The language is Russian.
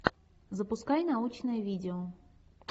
запускай научное видео